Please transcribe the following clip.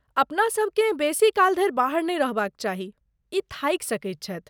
अपनासभ केँ बेसी काल धरि बाहर नहि रहबाक चाही, ई थाकि सकैत छथि।